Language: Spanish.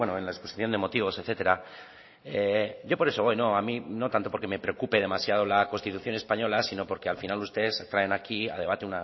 en la exposición de motivos etcétera a mí no tanto porque me preocupe demasiado la constitución española sino porque al final ustedes traen aquí a debate